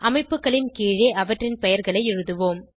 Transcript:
அமைப்புகளின் கீழே அவற்றின் பெயர்களை எழுதுவோம்